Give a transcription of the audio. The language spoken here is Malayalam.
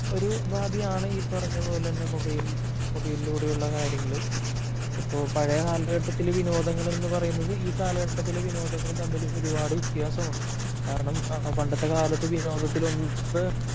ഒരു ഉപാധിയാണ് ഈ പറഞ്ഞ പോലെ തന്നെ മൊബൈൽ മൊബൈലിലൂടെയുള്ള കാര്യങ്ങള് . ഇപ്പോ പഴയ കാലഘട്ടത്തില് വിനോദങ്ങള് എന്ന് പറയുന്നത് ഈ കാലലഘട്ടത്തിലെ വിനോദങ്ങളും തമ്മിൽ ഒരുപാട് വ്യത്യാസമുണ്ട്. കാരണം പണ്ടത്തെ കാലത്ത് വിനോദത്തില്